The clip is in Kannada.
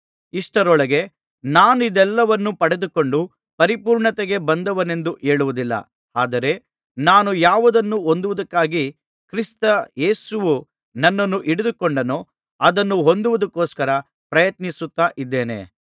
ಇಷ್ಟರೊಳಗೆ ನಾನಿದೆಲ್ಲವನ್ನೂ ಪಡಕೊಂಡು ಪರಿಪೂರ್ಣತೆಗೆ ಬಂದವನೆಂದು ಹೇಳುವುದಿಲ್ಲ ಆದರೆ ನಾನು ಯಾವುದನ್ನು ಹೊಂದುವುದಕ್ಕಾಗಿ ಕ್ರಿಸ್ತ ಯೇಸುವು ನನ್ನನ್ನು ಹಿಡಿದುಕೊಂಡನೋ ಅದನ್ನು ಹೊಂದುವುದಕ್ಕೋಸ್ಕರ ಪ್ರಯತ್ನಿಸುತ್ತಾ ಇದ್ದೇನೆ